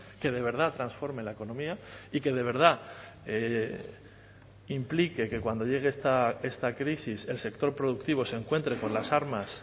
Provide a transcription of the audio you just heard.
que de verdad transforme la economía y que de verdad implique que cuando llegue esta crisis el sector productivo se encuentre con las armas